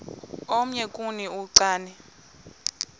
omnye kuni uchane